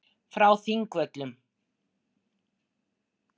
Frá Þingvöllum.